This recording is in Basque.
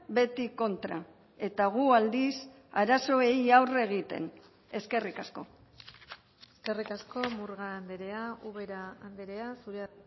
beti kontra eta gu aldiz arazoei aurre egiten eskerrik asko eskerrik asko murga andrea ubera andrea zurea